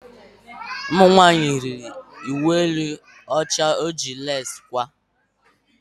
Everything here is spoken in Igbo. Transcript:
Ụmụnwanyị yiri uwe elu ọcha eji lesi kwaa.